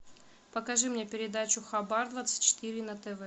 покажи мне передачу хабар двадцать четыре на тв